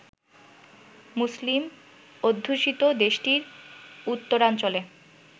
মুসলিম অধ্যুষিত দেশটির উত্তরাঞ্চলে